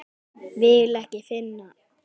Vil ekki finna.